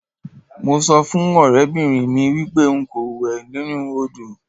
Mo so fun orebinrin mi wipe nko lo we ninu odo.